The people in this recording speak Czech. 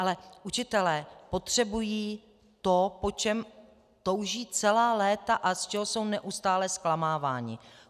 Ale učitelé potřebují to, po čem touží celá léta a z čeho jsou neustále zklamáváni.